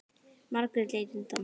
Margrét leit undan.